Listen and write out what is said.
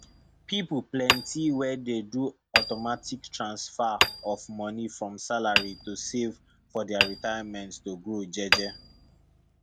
people plenty wey dey do automatic transfer of money from salary to save for their retirement to grow jeje